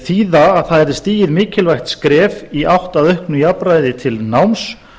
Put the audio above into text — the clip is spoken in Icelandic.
þýða að það yrði stigið mikilvægt skref í átt að auknu jafnræði til náms